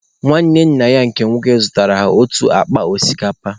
Nwanne nna ha nke nwoke zụtara ha otu akpa osikapa.